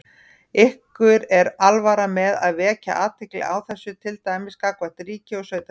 Ykkur er alvara með að vekja athygli á þessu, til dæmis gagnvart ríki og sveitarfélögum?